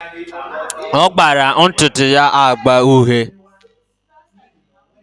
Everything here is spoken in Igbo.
Ọ gbara ntụtụ ya agba uhie.